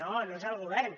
no no és el govern